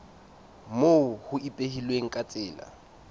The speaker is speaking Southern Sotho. moo ho ipehilweng ka tsela